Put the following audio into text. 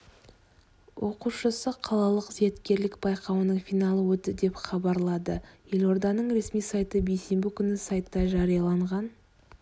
оқушысы қалалық зияткерлік байқауының финалы өтті деп хабарлады елорданың ресми сайты бейсенбі күні сайтта жарияланған